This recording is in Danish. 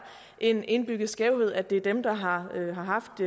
en indbygget skævhed og at det er dem der har haft